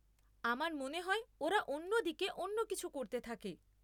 আমার মনে হয় ওরা অন্য দিকে অন্য কিছু করতে থাকে।